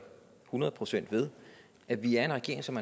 hundrede procent ved at vi er en regering som